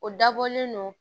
O dabɔlen don